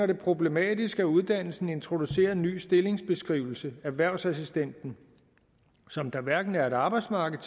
det problematisk at uddannelsen introducerer en ny stillingsbeskrivelse erhvervsassistent som der hverken er et arbejdsmarked